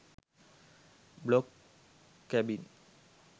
blog cabin